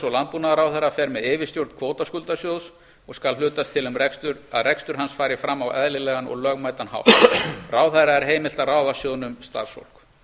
og landbúnaðarráðherra fer með yfirstjórn kvótaskuldasjóðs og skal hlutast til um að rekstur hans fari fram á eðlilegan og lögmætan hátt ráðherra er heimilt að ráða sjóðnum starfsfólk